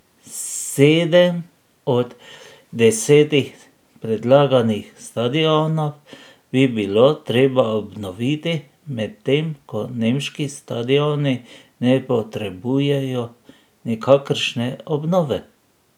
Sedem od desetih predlaganih stadionov bi bilo treba obnoviti, medtem ko nemški stadioni ne potrebujejo nikakršne obnove.